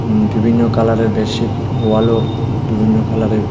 বিভিন্ন কালারের বেডশিট ওয়ালও বিভিন্ন কালারের.